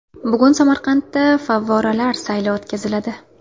Bugun Samarqandda favvoralar sayli o‘tkaziladi.